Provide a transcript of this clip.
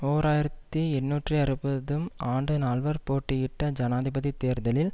ஓர் ஆயிரத்தி எண்ணூற்று அறுபதும் ஆண்டு நால்வர் போட்டியிட்ட ஜனாதிபதி தேர்தலில்